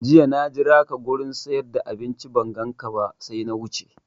Jiya na jiraka wurin siyar da abinci ban ganka ba sai na wuce